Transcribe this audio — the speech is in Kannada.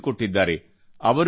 ರೇನಾಡೂ ಪ್ರಾಂತ್ ಕೇ ಸೂರಜ್